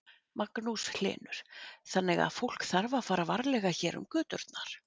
Magnús Hlynur: Þannig að fólk þarf að fara varlega hér um göturnar?